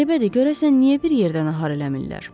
Qəribədir, görəsən niyə bir yerdən nahar eləmirlər?